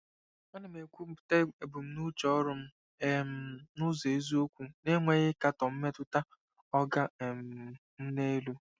Ana m ekwupụta ebumnuche ọrụ m um n'ụzọ eziokwu na-enweghị ịkatọ mmetụta “oga um m n'elu.”